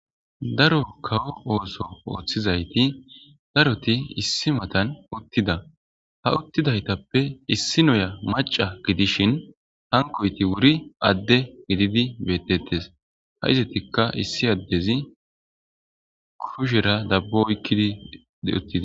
daro kawo ooso ooththizayti daroti issi matan uttida ha uttidaytappe issi noya maca gidishin hankoyti wuri adde gididi beettetes ha izatikka issi addezi kushera dabbo oykkidi deuttidi